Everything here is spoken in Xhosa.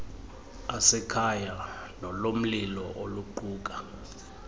asekhaya nolomlilo oluquka